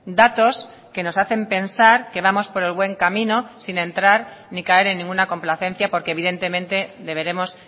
datos que nos hacen pensar que vamos por el buen camino sin entrar ni caer en ninguna complacencia porque evidentemente deberemos